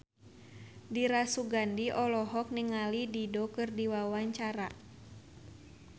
Dira Sugandi olohok ningali Dido keur diwawancara